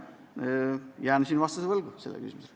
Jään sellele küsimusele vastuse võlgu.